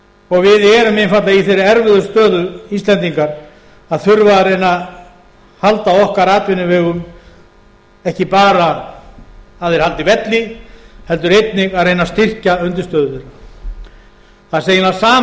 og við erum einfaldlega í þeirri erfiðu stöðu íslendingar að þurfa að reyna að halda okkar atvinnuvegum ekki bara að þeir haldi velli heldur einnig að reyna að styrkja undirstöður þeirra það er eiginlega sama á